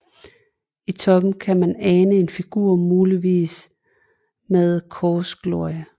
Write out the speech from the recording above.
I toppen kan man ane en figur muligvis med korsglorie